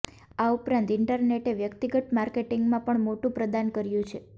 આ ઉપરાંત ઈન્ટરનેટે વ્યકિતગત માર્કેટિંગમાં પણ મોટું પ્રદાન કર્યું છે